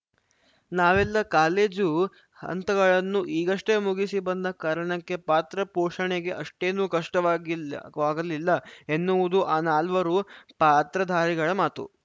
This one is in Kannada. ನಾವೆಲ್ಲ ಕಾಲೇಜು ಹಂತಗಳನ್ನು ಈಗಷ್ಟೇ ಮುಗಿಸಿ ಬಂದ ಕಾರಣಕ್ಕೆ ಪಾತ್ರ ಪೋಷಣೆಗೆ ಅಷ್ಟೇನು ಕಷ್ಟವಾಗಿಲ್ಲ ಕಷ್ಟವಾಗಲಿಲ್ಲ ಎನ್ನುವುದು ಆ ನಾಲ್ವರು ಪಾತ್ರಧಾರಿಗಳ ಮಾತು